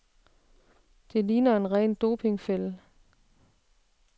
Det ligner en ren dopingfælde.